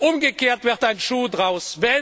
Umgekehrt wird ein Schuh draus!